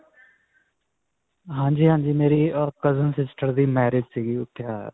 ਹਾਂਜੀ, ਹਾਂਜੀ, ਮੇਰੀ ਅਅ cousin sister ਦੀ marriage ਸੀ, ਉਥੇ ਆਇਆ.